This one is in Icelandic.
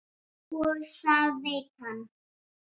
Og það veit hann.